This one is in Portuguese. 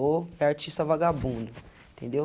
Ou é artista vagabundo, entendeu?